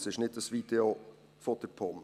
Es ist nicht ein Video der POM.